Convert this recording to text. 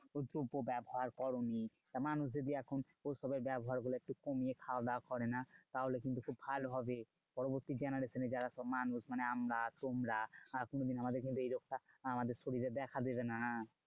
একটুকুও ব্যবহার করোনি তা মানুষ যদি এখন ওসবের ব্যবহার গুলো একটু কমিয়ে খাওয়াদাওয়া করে না? তাহোলে কিন্তু খুব ভালো হবে। পরবর্তী generation এ যারা সব মানুষ মানে আমরা তোমরা আহ কোনোদিন আমাদের কিন্তু এই রোগটা আমাদের শরীরে দেখা দেবে না।